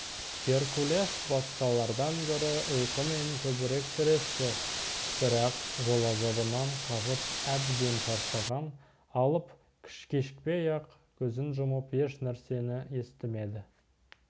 геркулес басқалардан гөрі ұйқымен көбірек тіресті бірақ жол азабынан қажып әбден шаршаған алып кешікпей-ақ көзін жұмып ешнәрсені естімеді